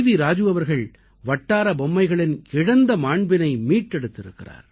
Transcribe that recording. ராஜு அவர்கள் வட்டார பொம்மைகளின் இழந்த மாண்பினை மீட்டெடுத்திருக்கிறார்